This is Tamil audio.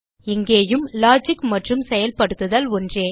இங்கேயும் லாஜிக் மற்றும் செயல்படுத்துதல் ஒன்றே